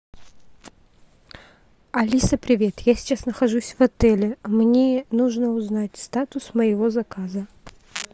алиса привет я сейчас нахожусь в отеле мне нужно узнать статус моего заказа